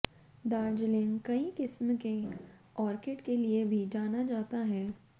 दार्जिलिंग कई किस्म के आर्किड के लिए भी जाना जाता है